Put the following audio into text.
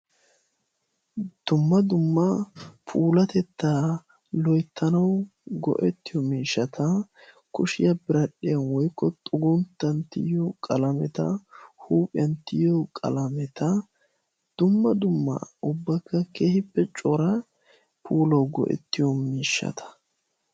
Dumma dumma puulatettaa loittanau go'ettiyo miishshata kushiyaa biradhdhiyan woykko xugunttanttiyyo qalaameta huuphiyanttiyyo qalaameta dumma dumma ubbakka kehippe cora pula go'ettiyo miishshata.